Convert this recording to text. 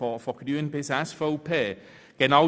Sie haben diesen Antrag abgelehnt.